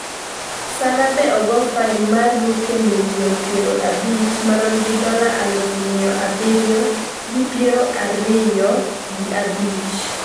Salla bende ogo fain mar rupiah milion piero abich marom gi dola aluf miya abiriyo gi piero ariyo, miya abiriyo gi piero ariyo gi abich